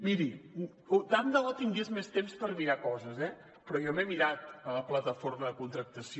miri tant de bo tingués més temps per mirar coses eh però jo m’he mirat la plataforma de contractació